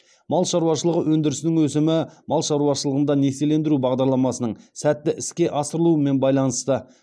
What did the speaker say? мал шаруашылығы өндірісінің өсімі мал шаруашылығында несиелендіру бағдарламасының сәтті іске асырылуымен байланысты